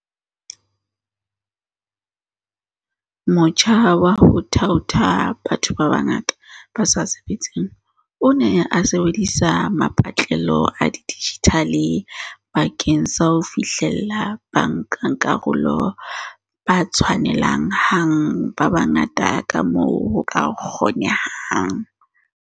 Motjha wa ho thaotha batho ba bangata ba sa sebetseng o ne o sebedisa mapatlelo a dijithale bakeng sa ho fihlella bankakarolo ba tshwanele hang ba bangata kamoo ho ka kgonehang.